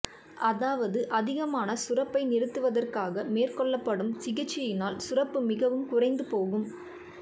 அதாவது அதிகமான சுரப்பை நிறுத்துவதற்காக மேற்கொள்ளப்படும் சிகிச்சையினால் சுரப்பு மிகவும் குறைந்து போகும்